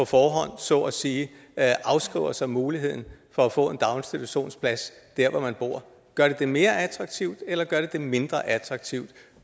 forhånd så at sige afskriver sig muligheden for at få en daginstitutionsplads der hvor man bor gør det det mere attraktivt eller gør det det mindre attraktivt